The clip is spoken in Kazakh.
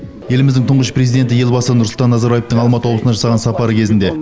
еліміздің тұңғыш президенті елбасы нұрсұлтан назарбаевтың алматы облысына жасаған сапары кезінде